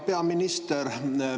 Hea peaminister!